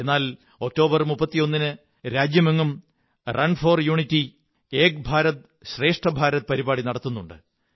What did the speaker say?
എന്നാൽ 31 ഒക്ടോബറിന് രാജ്യമെങ്ങും run for unity Ek Bharat Shreshtha Bharat പരിപാടി നടത്തുന്നുണ്ട്